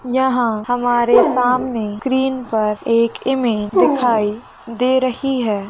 यहाँ हमारे सामने स्क्रीन पर एक इमेज दिखाई दे रही है।